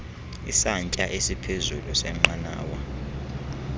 isantsya esiphezulu senqanawa